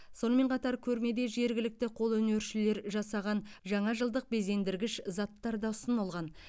сонымен қатар көрмеде жергілікті қолөнершілер жасаған жаңажылдық безендіргіш заттар да ұсынылған